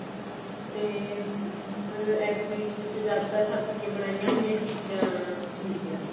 ਤੇ ਮਤਲਬ exhibition ਚ ਜ਼ਿਆਦਾਤਰ ਹੱਥ ਦੀਆਂ ਬਣਾਈਆਂ ਹੋਈਆਂ ਚੀਜ਼ਾਂ ਹੁੰਦੀਆਂ ਨੇ